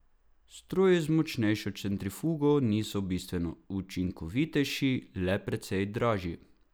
Stroji z močnejšo centrifugo niso bistveno učinkovitejši, le precej dražji.